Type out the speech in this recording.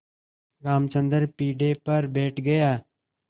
रामचंद्र पीढ़े पर बैठ गया